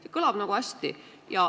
See kõlab hästi.